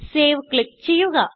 save click ചെയ്യുക